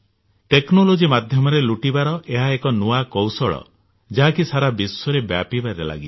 technology ମାଧ୍ୟମରେ ଲୁଟିବାର ଏହା ଏକ ନୂଆ କୌଶଳ ଯାହା କି ସାରା ବିଶ୍ୱରେ ବ୍ୟାପିବାରେ ଲାଗିଛି